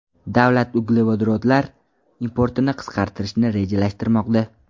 Davlat uglevodorodlar importini qisqartirishni rejalashtirmoqda.